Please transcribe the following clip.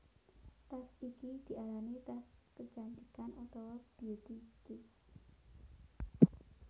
Tas iki diarani tas kecantikan utawa beauty case